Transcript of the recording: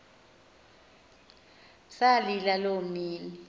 salila loo mini